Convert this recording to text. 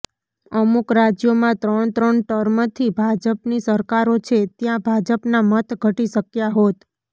અમુક રાજ્યોમાં ત્રણ ત્રણ ટર્મથી ભાજપની સરકારો છે ત્યાં ભાજપના મત ઘટી શક્યા હોત